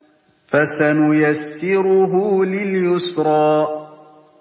فَسَنُيَسِّرُهُ لِلْيُسْرَىٰ